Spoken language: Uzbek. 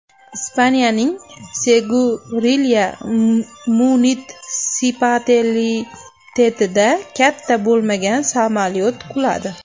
Ispaniyaning Segurilya munitsipalitetida katta bo‘lmagan samolyot quladi.